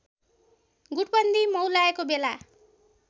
गुटबन्दी मौलाएको बेला